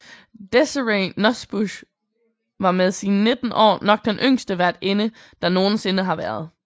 Desirée Nosbusch var med sine 19 år nok den yngste værtinde der nogen sinde har været